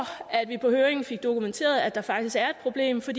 at vi på høringen fik dokumenteret at der faktisk er et problem for